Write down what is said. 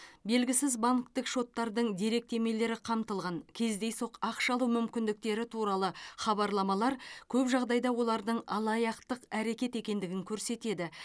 белгісіз банктік шоттардың деректемелері қамтылған кездейсоқ ақша алу мүмкіндіктері туралы хабарламалар көп жағдайда олардың алаяқтық әрекет екендігін көрсетеді